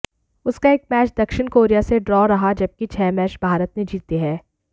उसका एक मैच दक्षिण कोरिया से ड्रॉ रहा जबकि छह मैच भारत ने जीते हैं